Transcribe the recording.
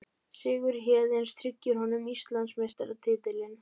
Sigur Héðins tryggir honum Íslandsmeistaratitilinn